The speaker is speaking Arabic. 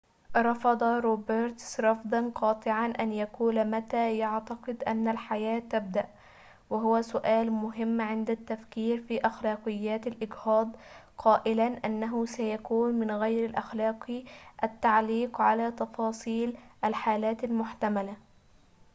رفض روبرتس رفضاً قاطعاً أن يقول متى يعتقد أن الحياة تبدأ وهو سؤال مهم عند التفكير في أخلاقيات الإجهاض قائلاً إنه سيكون من غير الأخلاقي التعليق على تفاصيل الحالات المحتملة